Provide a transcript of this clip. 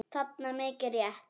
þarna, mikið rétt.